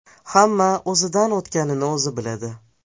Hamma o‘zidan o‘tganini o‘zi biladi.